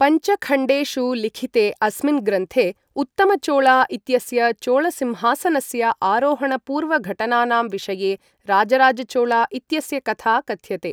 पञ्चखण्डेषु लिखिते अस्मिन् ग्रन्थे, उत्तमचोळा इत्यस्य चोळसिंहासनस्य आरोहणपूर्वघटनानां विषये राजराजचोळा इत्यस्य कथा कथ्यते।